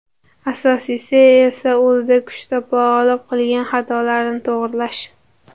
Asosiysi esa o‘zida kuch topa olib qilgan xatolarni to‘g‘rilash.